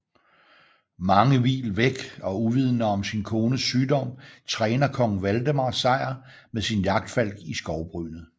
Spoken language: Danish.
Mange mil væk og uvidende om sin kones sygdom træner Kong Valdemar Sejr med sin jagtfalk i skovbrynet